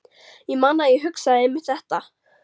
Ég man að ég hugsaði einmitt þetta.